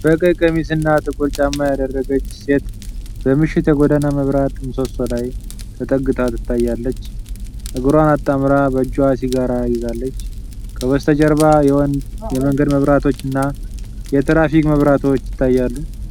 በቀይ ቀሚስ እና ጥቁር ጫማ ያደረገች ሴት በምሽት የጎዳና መብራት ምሰሶ ላይ ተጠግታ ታያለች። እግሯን አጣምራ በእጇ ሲጋራ ይዛለች። ከበስተጀርባ የመንገድ መብራቶች እና የትራፊክ መብራቶች ይታያሉ።